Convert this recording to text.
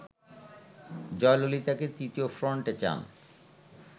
জয়ললিতাকে তৃতীয় ফ্রন্টে চান